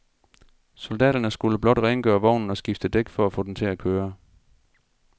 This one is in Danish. Soldaterne skulle blot rengøre vognen og skifte et dæk for at få den til at køre.